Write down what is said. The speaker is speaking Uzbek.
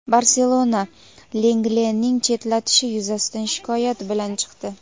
"Barselona" Langlening chetlatishi yuzasidan shikoyat bilan chiqdi.